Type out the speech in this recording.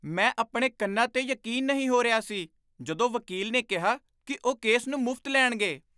ਮੈਂ ਆਪਣੇ ਕੰਨਾਂ 'ਤੇ ਯਕੀਨ ਨਹੀਂ ਹੋ ਰਿਹਾ ਸੀ, ਜਦੋਂ ਵਕੀਲ ਨੇ ਕਿਹਾ ਕਿ ਉਹ ਕੇਸ ਨੂੰ ਮੁਫ਼ਤ ਲੈਣਗੇ।